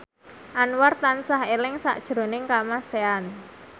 Anwar tansah eling sakjroning Kamasean